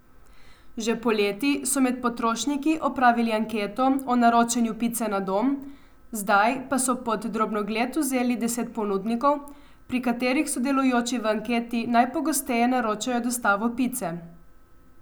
Že poleti so med potrošniki opravili anketo o naročanju pice na dom, zdaj pa so pod drobnogled vzeli deset ponudnikov, pri katerih sodelujoči v anketi najpogosteje naročajo dostavo pice.